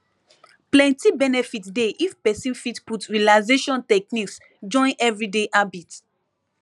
plenty benefit dey if person fit put relaxation techniques join everyday habit